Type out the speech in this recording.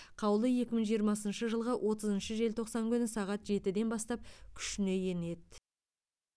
қаулы екі мың жиырмасыншы жылғы отызыншы желтоқсан күні сағат жетіден бастап күшіне енеді